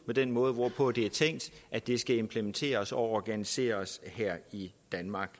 den måde hvorpå det er tænkt at det skal implementeres og organiseres her i danmark